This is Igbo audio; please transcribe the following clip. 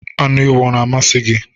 Anụ ewu ọ na-amasị gị?